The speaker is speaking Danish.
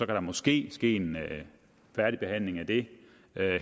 der måske ske en færdigbehandling af det